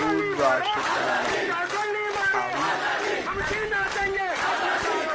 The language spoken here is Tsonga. swivulwa swo tala a wu